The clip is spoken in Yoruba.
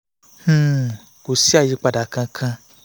um kò sí àyípadà kankan